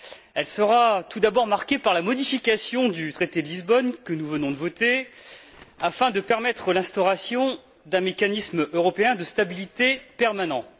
Elle sera tout d'abord marquée par la modification du traité de Lisbonne que nous venons de voter, afin de permettre l'instauration d'un mécanisme européen de stabilité permanent.